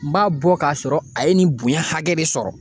N b'a bɔ ka sɔrɔ a ye nin bonya hakɛ de sɔrɔ.